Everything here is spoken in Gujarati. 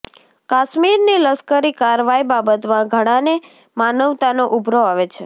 કાશ્મીરની લશ્કરી કારવાઈ બાબતમાં ઘણાને માનવતાનો ઊભરો આવે છે